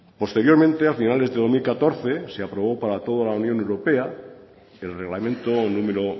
posteriormente a finales de dos mil catorce se aprobó para toda la unión europea el reglamento número